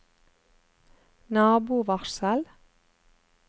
nabovarsel